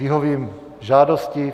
Vyhovím žádosti.